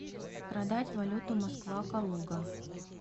продать валюту москва калуга